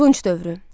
Tunc dövrü.